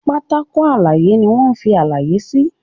Pátákó àlàyé ní wón fí àlàyé sí.